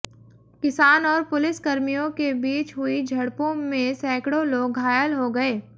किसान और पुलिसकर्मियों के बीच हुई झड़पों में सैकड़ों लोग घायल हो गए